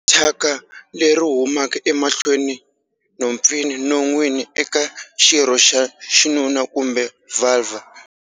Thyaka leri humaka emahlweni, nhompfini, non'wini, eka xirho xa xinuna kumbe vhalvha?